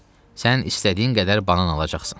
Sən istədiyin qədər banan alacaqsan.